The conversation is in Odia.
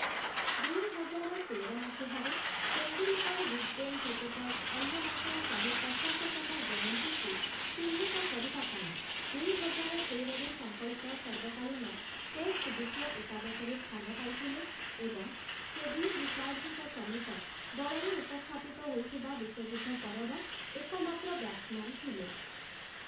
ଦୁଇହଜାର ତେର ମସିହାରେ, ତେନ୍ଦୁଲ୍‌କର୍‌ ୱିଜ୍‌ଡେନ୍‌‌ କ୍ରିକେଟର୍ସ୍ ଅଲ୍ମନାକ୍‌ର ଶହେ ପଚାଶ ତମଜୟନ୍ତୀକୁ ଚିହ୍ନିତ କରିବା ପାଇଁ ଦୁଇହଜାର ତେରରେ ସଂକଳିତ ସର୍ବକାଳୀନ ଟେଷ୍ଟ୍‌ ବିଶ୍ୱ ଏକାଦଶରେ ସ୍ଥାନ ପାଇଥିଲେ ଏବଂ ସେ ଭିଭ୍ ରିଚାର୍ଡ଼୍ସ୍‌ଙ୍କ ସମେତ ଦଳରେ ଉପସ୍ଥାପିତ ହୋଇଥିବା ବିଶ୍ଵଯୁଦ୍ଧ ପରର ଏକମାତ୍ର ବ୍ୟାଟ୍ସ୍‌ମ୍ୟାନ୍ ଥିଲେ ।